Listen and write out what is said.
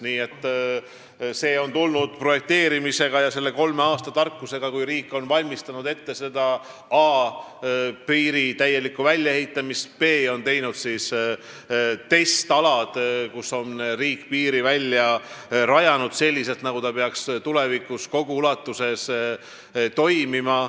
Nii et see kõik on tulnud projekteerimise käigus ja selle kolme aasta tarkusega, kui riik on a) valmistanud ette piiri täielikku väljaehitamist; b) teinud testalad, kus on riik piiri välja ehitanud selliselt, nagu ta peaks tulevikus kogu ulatuses toimima.